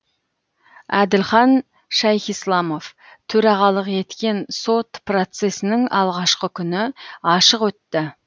әділхан шайхисламов төрағалық еткен сот процесінің алғашқы күні ашық өтті